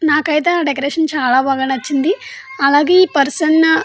నాకైతే ఆ డెకరేషన్ చాలా బాగా నచ్చింది అలాగే ఆ పర్సన్ --